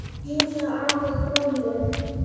Knúsaðu afa frá mér.